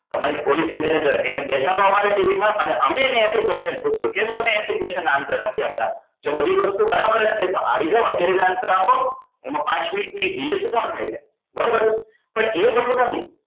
તમારી policy manager એને બેસાડો અમારી TV માં અને અમે એને question પુછ્સું કેમ તમે એંશી question નાં answer નથી આપતા જો બધી જ વસ્તુ બરાબર જ છે તો આવી જાઓ અત્યારે જ answer આપો એમાં પાંચ minute ની dial શું કામ થાય છે બરોબર છે પણ એ બધું નથી